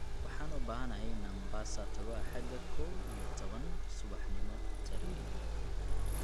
Waxaan u baahanahay in aan Mombasa tago axada kow iyo tawan subaxnimo tareen